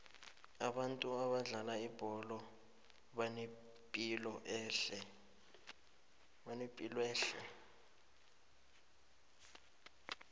abantu abadlala ibholo banepilwehle